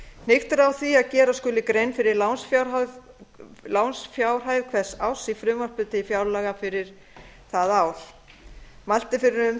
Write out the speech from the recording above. hnykkt er á því að gera skuli grein fyrir lánsfjárhæð hvers árs í frumvarpi til fjárlaga fyrir það ár mælt er fyrir um